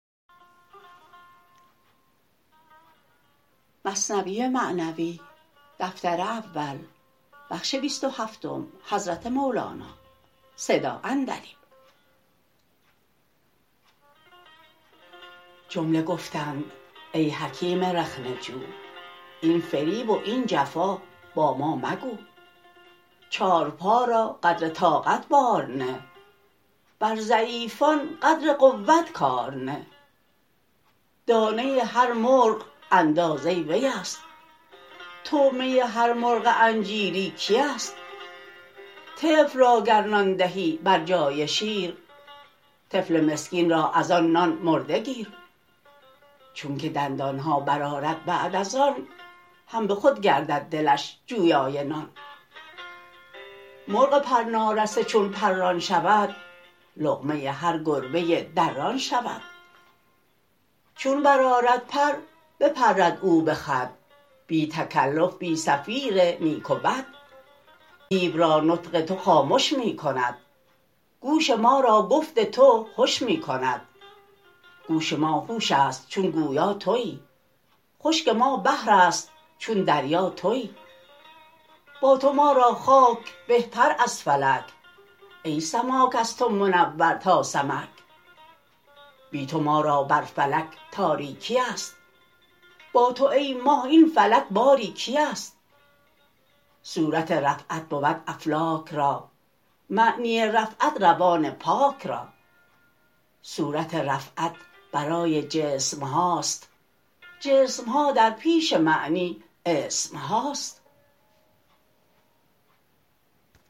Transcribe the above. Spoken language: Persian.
جمله گفتند ای حکیم رخنه جو این فریب و این جفا با ما مگو چارپا را قدر طاقت بار نه بر ضعیفان قدر قوت کار نه دانه هر مرغ اندازه ویست طعمه هر مرغ انجیری کیست طفل را گر نان دهی بر جای شیر طفل مسکین را از آن نان مرده گیر چونک دندانها بر آرد بعد از آن هم بخود گردد دلش جویای نان مرغ پر نارسته چون پران شود لقمه هر گربه دران شود چون بر آرد پر بپرد او بخود بی تکلف بی صفیر نیک و بد دیو را نطق تو خامش می کند گوش ما را گفت تو هش می کند گوش ما هوشست چون گویا توی خشک ما بحرست چون دریا توی با تو ما را خاک بهتر از فلک ای سماک از تو منور تا سمک بی تو ما را بر فلک تاریکیست با تو ای ماه این فلک باری کیست صورت رفعت بود افلاک را معنی رفعت روان پاک را صورت رفعت برای جسمهاست جسمها در پیش معنی اسمهاست